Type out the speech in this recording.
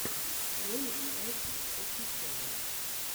ролик айша офишиал